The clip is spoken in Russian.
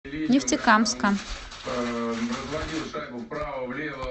нефтекамска